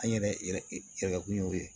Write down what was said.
An yɛrɛ yɛrɛ kun y'o ye